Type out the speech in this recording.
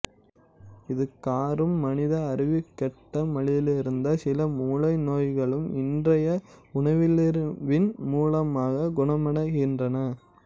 இதுகாறும் மனித அறிவுக்கெட்டாமலிருந்த சில மூளை நோய்களும் இன்றைய உணவியலறிவின் மூலமாகக் குணமடைகின்றன